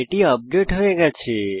এটি আপডেট হয়ে গেছে